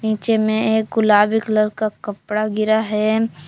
नीचे में एक गुलाबी कलर का कपड़ा गिरा है।